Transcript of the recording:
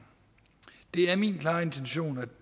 det er min klare intention at